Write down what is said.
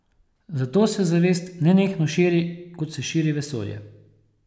Zato se zavest nenehno širi, kot se širi vesolje.